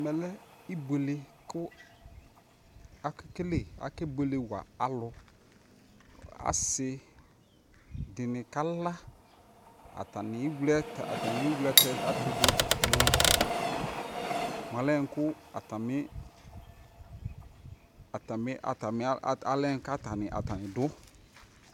Ɛmɛ lɛ ibuele kʋ akakele akebuele wa alʋ Asidi ni kala, atani ewle ataani ewle ɛtʋ dʋ mʋ mʋ ɔlɛ nʋ kʋ atami atami alɛ nʋ ka atani dʋ